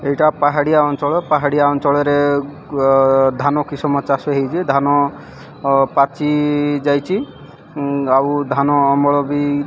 ଏଇଟା ପାହାଡ଼ିଆ ଅଞ୍ଚଳ। ପାହାଡ଼ିଆ ଅଞ୍ଚଳରେ ଗ ଧାନ କିଷମ ଚାଷ ହେଉଚି ଧାନ ଅ ପାଚି ଯାଇଚି। ଉଁ ଆଉ ଧାନ ଅମଳ ବି --